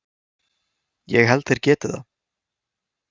Ég held þeir geti það.